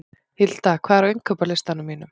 Hilda, hvað er á innkaupalistanum mínum?